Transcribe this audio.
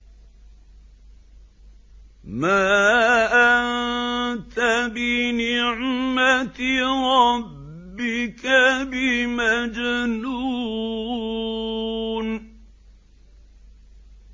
مَا أَنتَ بِنِعْمَةِ رَبِّكَ بِمَجْنُونٍ